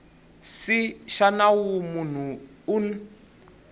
c xa nawu munhu un